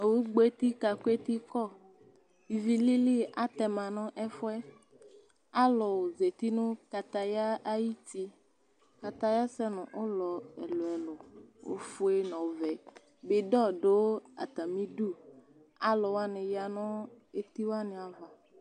Owu gbɔeti kakʋetikɔ ivilili aatɛma nʋ ɛfʋɛAalu zeti nʋ kataya aayiti, katayɛ ɔsɛ nʋ ulɔ ɛluɛlu, ofue nʋ ɔvɛbidon ɖʋ aatami iɖʋAluwani ya nʋ etiwaniava